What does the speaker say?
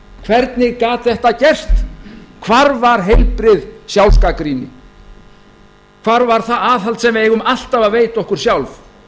hvernig gat þetta gerst hvar var heilbrigð sjálfsgagnrýni hvað var það aðhald sem við eigum alltaf að veita okkur sjálf